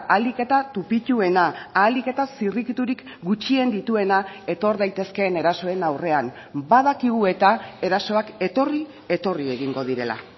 ahalik eta tupituena ahalik eta zirrikiturik gutxien dituena etor daitezkeen erasoen aurrean badakigu eta erasoak etorri etorri egingo direla